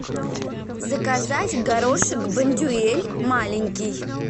заказать горошек бондюэль маленький